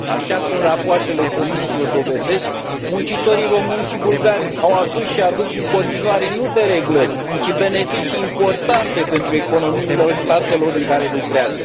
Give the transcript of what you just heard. Așa cum rapoartele Comisiei o dovedesc, muncitorii români și bulgari au adus și aduc în continuare nu dereglări, ci beneficii importante pentru economiile statelor în care lucrează.